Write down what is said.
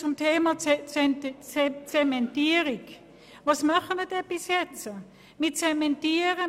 Zum Thema Zementierung: Was tun wir bis heute?